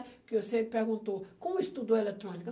Porque você perguntou, como eu estudou eletrônica?